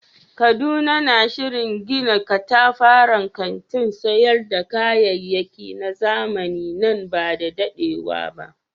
Kaduna na shirin gina katafaren kantin sayar da kayayyaki na zamani nan ba da dadewa ba.